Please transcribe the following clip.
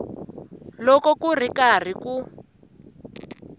loko ku ri karhi ku